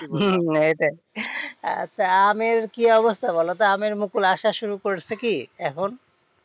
হম হম এটাই আচ্ছা আমের কি অবস্থা বলতো, আমের মুকুল আসা শুরু করেছে কি এখন?